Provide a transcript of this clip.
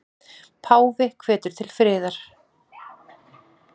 Páfi hvetur til friðar